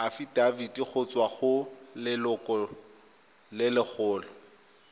afitafiti go tswa go lelokolegolo